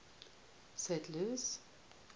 sadler's